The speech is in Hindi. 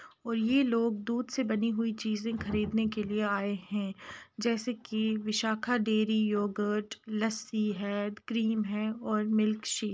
वही लोग दूध से नी हुई चीज खरीदने आए हैं जैसे विशाखा डेरी योगर्ट लस्सी है क्रीम और मिल्क शेक --